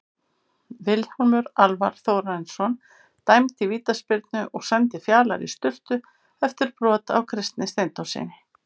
Vilhjálmur Alvar Þórarinsson dæmdi vítaspyrnu og sendi Fjalar í sturtu eftir brot á Kristni Steindórssyni.